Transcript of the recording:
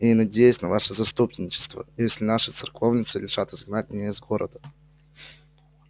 и я надеюсь на ваше заступничество если наши церковницы решат изгнать меня из города